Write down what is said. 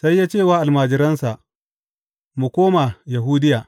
Sai ya ce wa almajiransa, Mu koma Yahudiya.